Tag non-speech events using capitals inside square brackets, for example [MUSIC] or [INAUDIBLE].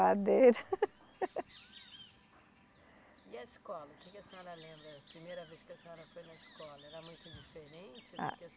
[LAUGHS] E a escola? Que que a senhora lembra? Primeira vez que a senhora foi na escola. Era muito diferente do que a